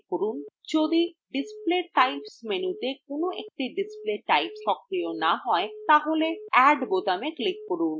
যদি display types মেনুতে কোন একটি display types সক্রিয় না হয় তাহলে add বোতামে click করুন